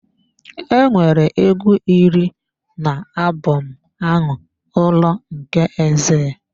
Enwere egwu iri na album ahụ, Ụlọ nke Exile.